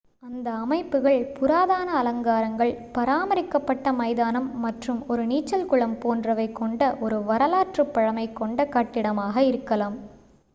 அந்த அமைப்புகள் புராதன அலங்காரங்கள் பாராமரிக்கப் பட்ட மைதானம் மற்றும் ஒரு நீச்சல் குளம் போன்றவை கொண்ட ஒரு வரலாற்றுப் பழமை கொண்ட கட்டிடமாக இருக்கலாம்